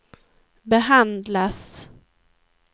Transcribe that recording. behandlas